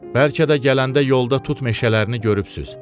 Bəlkə də gələndə yolda tut meşələrini görübsünüz.